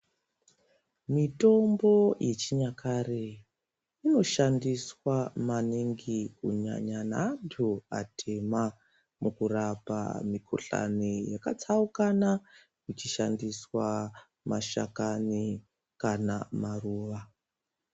Mitombo yechinyakare, unoshandiswa maningi kunyanya ne antu atema, mukurapa mikhuhlane yakatsaukana, kuchishandiswa mashakani kana maruwa.